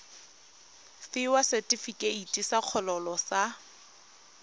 fiwa setefikeiti sa kgololo sa